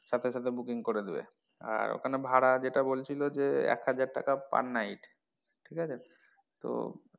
সাথে সাথে booking করে দিবে আহ ওখানে ভাড়া যেটা বলছিলো যে এক হাজার টাকা per night ঠিক আছে? তো,